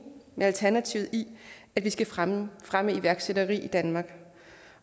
med alternativet i at vi skal fremme fremme iværksætteri i danmark